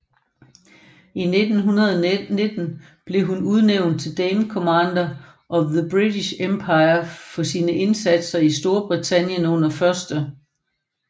I 1919 blev hun udnævnt til Dame Commander of the British Empire for sine indsatser for Storbritannien under 1